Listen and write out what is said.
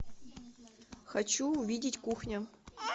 хочу увидеть кухня